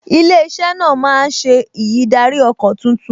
Ilé-iṣẹ́ náà máa ṣe ìyídáríọkọ̀ tuntun